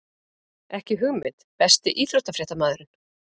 Ekki hugmynd Besti íþróttafréttamaðurinn?